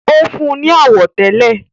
ó fún wọn ní àwọ̀tẹ́lẹ̀